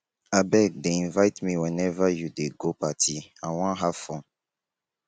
abeg dey invite me whenever you dey go party i wan have fun.